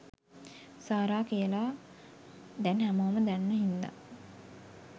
සාරා කියලා දැන් හැමෝම දන්න හින්දා.